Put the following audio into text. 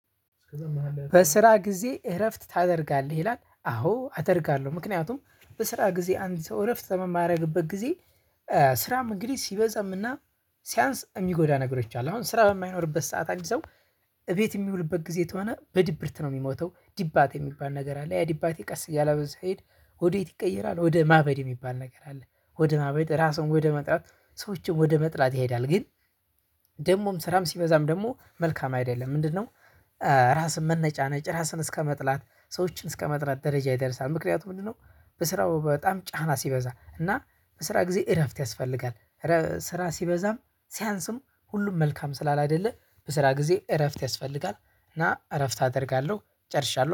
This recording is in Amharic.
በስራ ጊዜ እረፍት ታደርጋለህ? ይላል አዎ አደርጋለሁ ምክንያቱም በስራ ጊዜ አንድ ሰው እረፍት በሚያደርግበት ጊዜ ስራም እንግዲህ ሲበዛም እና ሲያንስ እሚጎዳ ነገሮች አሉ። አሁን ስራ በማይኖርበት ሰዓት አንድ ሰው እቤት በሚውልበት ጊዜ ተሆነ በድብርት ነው ሚሞተው፤ ዲባቴ ሚባል ነገር አለ ያ ዲባቴ ቀስ እያለ ስሄድ ወዴት ይቀየራል ወደ ማበድ የሚባል ነገር አለ ወደ ማበድ ራሱን ወደ መጥላት ሰዎችን ወደ መጥላት ይሄዳል ግን ደግሞም ስራም ሲበዛም ደግሞ መልካም አይደለም። ምንድነው ራስን መነጫነጭ ራስን እስከመጥላት ሰዎችን እስከመጥላት ደረጃ ይደርሳል ምክንያቱም ምንድነው በስራው በጣም ጫና ሲበዛ እና በስራ ጊዜ እረፍት ያስፈልጋል ስራ ሲበዛም ሲያንስም ሁሉም መልካም ስላላይደለ በስራ ጊዜ እረፍት ያስፈልጋል እና እረፍት አደርጋለሁ። ጨርሻለሁ